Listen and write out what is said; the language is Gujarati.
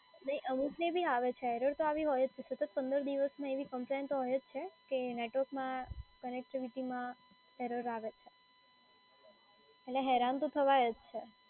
નહીં અમુકને બી આવે છે error તો આવી હોય જ છે સતત પંદર દિવસમાં એવી કમ્પ્લેન તો હોય છે કે નેટવર્કમાં connectivity માં error આવે છે અને હેરાન તો થવાય જ છે.